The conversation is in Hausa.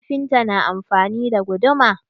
Kafinta na amfani da guduma.